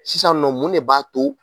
Sisan nɔ mun de b'a to